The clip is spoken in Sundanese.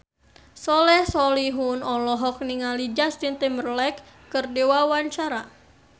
Soleh Solihun olohok ningali Justin Timberlake keur diwawancara